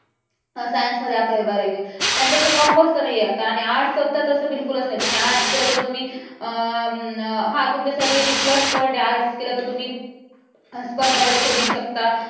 Science मध्ये अकरावी बारावी पण तसं commerce च नाही आता arts तर बिलकुलच नाही. तुम्ही arts केलं तर तुम्ही अं हा तुमच्यासाठी एक plus point आहे arts केलं तर तुम्ही स्पर्धा परीक्षा देऊ शकता.